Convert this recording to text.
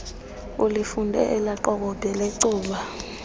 ulifunde elaqokobhe lecuba